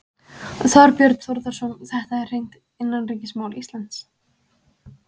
Þorbjörn Þórðarson: Þetta er hreint innanríkismál Íslands?